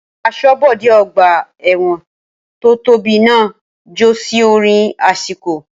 Asọ́bodè ọgbà ẹ̀wọ̀n tó tóbi náà ń jó sí orin àsìkò